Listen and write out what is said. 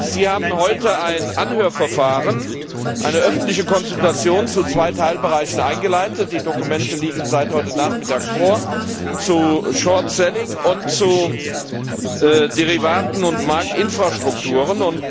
Sie haben heute ein Anhörverfahren, eine öffentliche Konsultation zu zwei Teilbereichen eingeleitet die Dokumente liegen seit heute Nachmittag vor zu Shortselling und zu Derivaten und Marktinfrastrukturen.